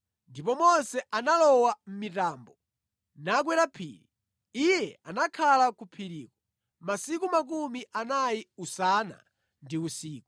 Ndipo Mose analowa mʼmitambo nakwera phiri. Iye anakhala ku phiriko 40 usana ndi usiku.